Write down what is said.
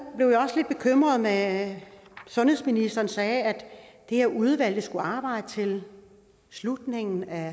blev jeg også lidt bekymret da sundhedsministeren sagde at det her udvalg skulle arbejde til slutningen af